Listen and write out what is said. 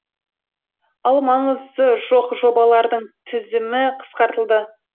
ал маңызы жоқ жобалардың тізімі қысқартылды